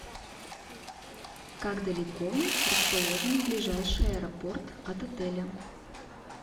как далеко расположен ближайший аэропорт от отеля